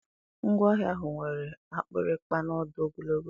Ngwere ahụ nwere akpịrịkpa na ọdụ ogologo.